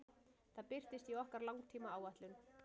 Það birtist í okkar langtímaáætlun.